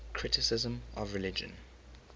criticism of religion